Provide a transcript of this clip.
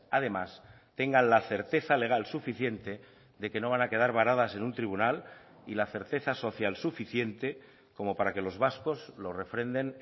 además tengan la certeza legal suficiente de que no van a quedar varadas en un tribunal y la certeza social suficiente como para que los vascos lo refrenden